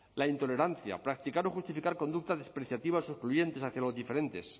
la intolerancia practicar o justificar conductas despreciativas o excluyentes hacia los diferentes